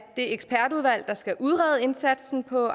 ekspertudvalg der skal udrede indsatsen på